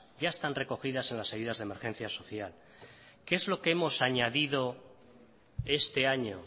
ya están recogidas en las ayudas de emergencia social qué es lo que hemos añadido este año